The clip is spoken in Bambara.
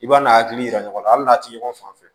I b'a n'a hakili yira ɲɔgɔn na hali n'a ti ɲɔgɔn faamu